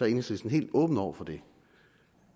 enhedslisten helt åben over for det